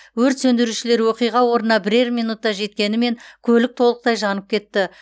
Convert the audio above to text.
өрт сөндірушілер оқиға орнына бірер минутта жеткенімен көлік толықтай жанып кетті